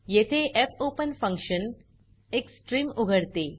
येथे fopen function एक stream प्रवाह उघडते